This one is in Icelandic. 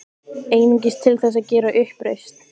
Einungis til þess að gera uppreisn.